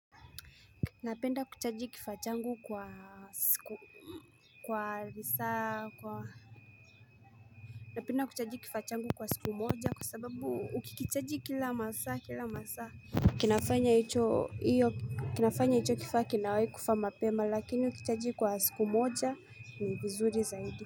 Napenda kuchaji kifaa changu kwa siku kwa risa kwa Napenda kuchaji kifaa changu kwa siku moja kwa sababu ukikichaji kila masaa kila masaa kinafanya hicho kifaa kinawai kufa mapema lakini ukichaji kwa siku moja ni vizuri zaidi.